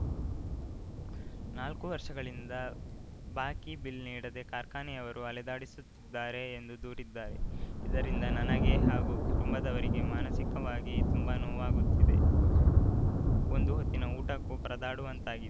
ನಾಲ್ಕು ವರ್ಷಗಳಿಂದ ಬಾಕಿ ಬಿಲ್‌ ನೀಡದೇ ಕಾರ್ಖಾನೆಯವರು ಅಲೆದಾಡಿಸುತ್ತಿದ್ದಾರೆ ಎಂದು ದೂರಿದ್ದಾರೆ ಇದರಿಂದ ನನಗೆ ಹಾಗೂ ಕುಟುಂಬದವರಿಗೆ ಮಾನಸಿಕವಾಗಿ ತುಂಬಾ ನೋವಾಗುತ್ತಿದೆ ಒಂದು ಹೊತ್ತಿನ ಊಟಕ್ಕೂ ಪರದಾಡುವಂತಾಗಿ